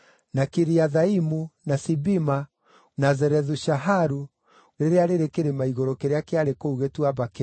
Kiriathaimu, na Sibima, na Zerethu-Shaharu rĩrĩa rĩrĩ kĩrĩma igũrũ kĩrĩa kĩarĩ kũu gĩtuamba kĩu,